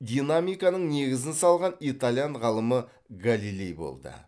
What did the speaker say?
динамиканың негізін салған итальян ғалымы галилей болды